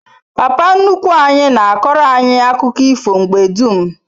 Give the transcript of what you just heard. Papa nnukwu anyi na akoro anyi akuko ifo mgbe dum